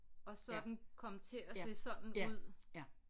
Og så er den kommet til at se sådan ud